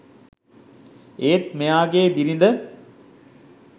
ඒත් මෙයාගේ බිරිද